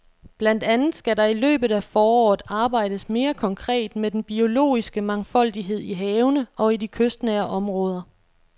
Blandt andet skal der i løbet af foråret arbejdes mere konkret med den biologiske mangfoldighed i havene og i de kystnære områder.